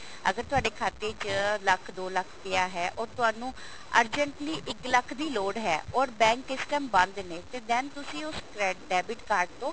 ਅਗਰ ਤੁਹਾਡੇ ਖਾਤੇ ਚ ਲੱਖ ਦੋ ਲੱਖ ਪਿਆ ਹੈ ਉਹ ਤੁਹਾਨੂੰ urgently ਇੱਕ ਲੱਖ ਦੀ ਲੋੜ ਹੈ or bank ਇਸ time ਬੰਦ ਨੇ ਤੇ then ਤੁਸੀਂ ਉਸ ਕਰੈ debit card ਤੋਂ